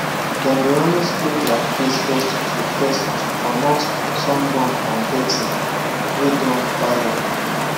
them dey always clean their face first to first to comot sunburn and dirty way don pile up